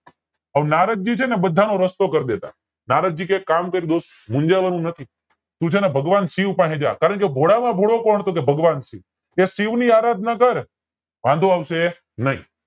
હવે નારદજી છે ને બધા નો રસ્તો કરી દેતા નારદજી કે એક કામ કર દોસ્ત મુંજાવાનું નથી તું છે ને ભગવાન શિવ પહે જા કારણ કે ભોળા માં ભોળો કોણ ભગવાન શિવ કે શિવ ની આરાધના કર તને વાંધો આવશે નય